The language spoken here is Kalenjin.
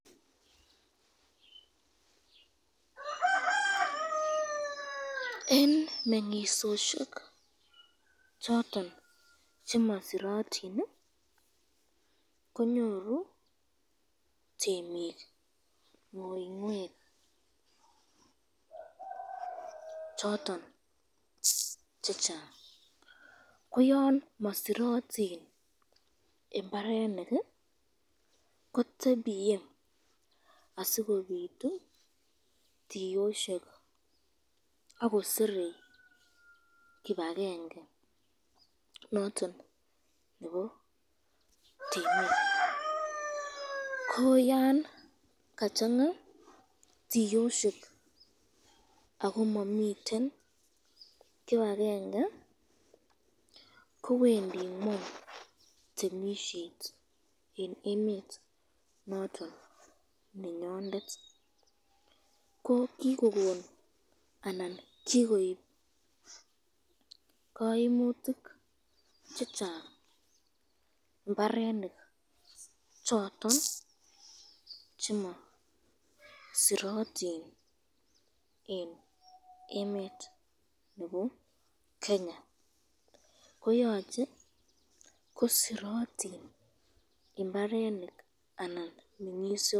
Eng mengisosyek choton chemasiratin konyoru temik uinwek choton chechang ko yon masiratin imbarenik ko tebiye asikobitu tiyosyek akosere kibakenge noton nebo temik, ko yan kachanga tiyosyek ako mamiten kibakenge kowendi ngweny temisyet eng emet noton nenyondet, ko kikokon anan kikoib kaimutik chechang imbarenik choton chemasiratin eng emet nebo Kenya, koyache kosirotin imbarenik anan mengisosyek.